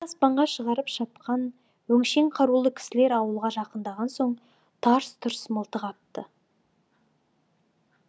шаңды аспанға шығарып шапқан өңшең қарулы кісілер ауылға жақындаған соң тарс тұрс мылтық атты